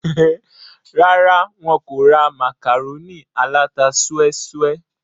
rárá, wọn kò ra màkàrónì aláta súẹ́súẹ́